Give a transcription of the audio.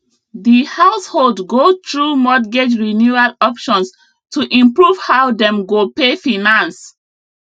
the household go through mortgage renewal options to improve how dem go pay finance